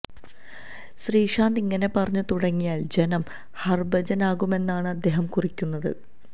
ശ്രീശാന്ത് ഇങ്ങനെ പറഞ്ഞു തുടങ്ങിയാൽ ജനം ഹർഭജനാകുമെന്നാണ് അദ്ദേഹം കുറിക്കുന്നത്